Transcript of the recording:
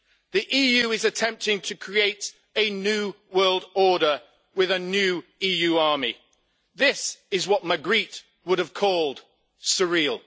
The EU is attempting to create a new world order with a new EU army. This is what Magritte would have called surreal.